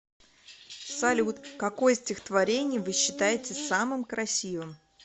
салют какое стихотворение вы считаете самым красивым